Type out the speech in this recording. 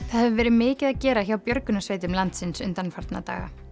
það hefur verið mikið að gera hjá björgunarsveitum landsins undanfarna daga